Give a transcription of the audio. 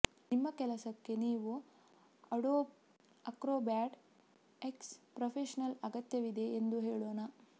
ನಿಮ್ಮ ಕೆಲಸಕ್ಕೆ ನೀವು ಅಡೋಬ್ ಅಕ್ರೊಬ್ಯಾಟ್ ಎಕ್ಸ್ ಪ್ರೊಫೆಷನಲ್ನ ಅಗತ್ಯವಿದೆ ಎಂದು ಹೇಳೋಣ